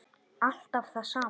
Alltaf það sama.